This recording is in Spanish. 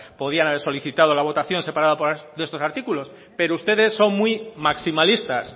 podían haber solicitado la votación separada por estos artículos pero ustedes son muy maximalistas